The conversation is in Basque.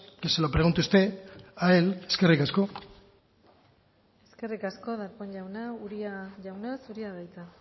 que se lo pregunte usted a él eskerrik asko eskerrik asko darpón jauna uria jauna zurea da hitza